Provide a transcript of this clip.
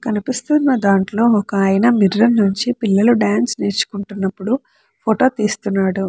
కనిపిస్తున్నా దాంట్లో ఒక ఆయన మిర్రర్ నుంచి పిల్లలు డాన్స్ నేర్చుకుంటున్నప్పుడు ఫోటో తీస్తున్నాడు.